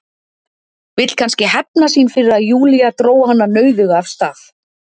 Vill kannski hefna sín fyrir að Júlía dró hana nauðuga af stað.